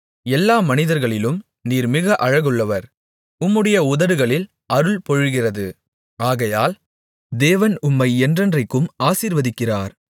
எல்லா மனிதர்களிலும் நீர் மிக அழகுள்ளவர் உம்முடைய உதடுகளில் அருள் பொழிகிறது ஆகையால் தேவன் உம்மை என்றென்றைக்கும் ஆசீர்வதிக்கிறார்